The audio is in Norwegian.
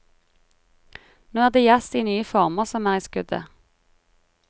Nå er det jazz i nye former som er i skuddet.